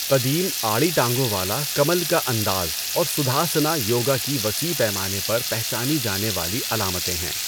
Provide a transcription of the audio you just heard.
قدیم، آڑی ٹانگوں والا کمل کا انداز اور سدھاسنا، یوگا کی وسیع پیمانے پر پہچانی جانے والی علامتیں ہیں۔